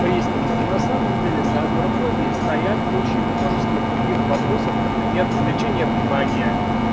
приступа ну на самом деле за агорафобией стоят очень множество других вопросов например привлечение внимания